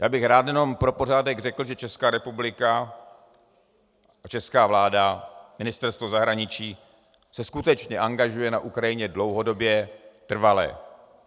Já bych rád jenom pro pořádek řekl, že Česká republika a česká vláda, Ministerstvo zahraničí se skutečně angažují na Ukrajině dlouhodobě, trvale.